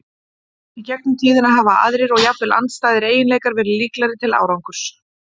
Í gegnum tíðina hafa aðrir, og jafnvel andstæðir, eiginleikar verið líklegri til árangurs.